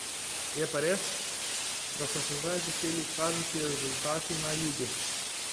Je pa res, da so se zdaj začeli kazati rezultati na jugu.